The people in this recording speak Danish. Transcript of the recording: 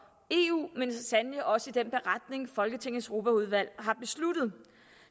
eu og sandelig også i den beretning folketingets europaudvalg har besluttet